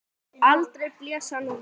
Aldrei blés hann úr nös.